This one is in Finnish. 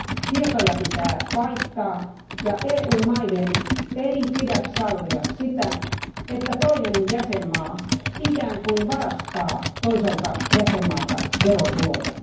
Tietoja pitää vaihtaa, ja EU maiden ei pidä sallia sitä, että toinen jäsenmaa ikään kuin varastaa toiselta jäsenmaalta verotuloja.